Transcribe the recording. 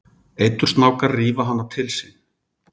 Eitursnákar rífa hana til sín.